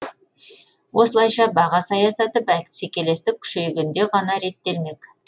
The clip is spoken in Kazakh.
осылайша баға саясаты бәсекелестік күшейгенде ғана реттелмек